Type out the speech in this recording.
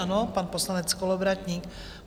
Ano, pan poslanec Kolovratník.